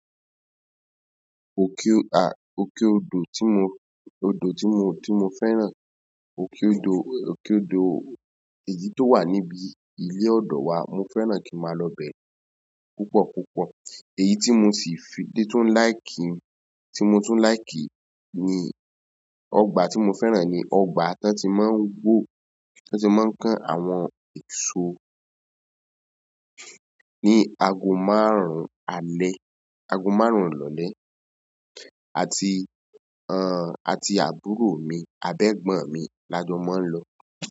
Òkè, a, òkè odò tí mo, odò tí mo, tí mo fẹ́ràn, òkè odò, òkè odò èyí tó wà níbi ilé ọ̀do wa mo fẹ́ràn kí n máa lọ bẹ̀ púpọ̀ púpọ̀. Èyí tí mo sì fi dé tún like, tí mo tún like ni ọgbà tí mo fẹ́ràn ni ọgbà tó ti máa ń bo, tó ti máa ń kán àwọn èso ní ago márùn-ún alẹ́, ago márùn-ún ìrọ̀lẹ́, àti, a, àti àbúrò mi, àbẹ́gbọn mi la jọ máa ń lọ́.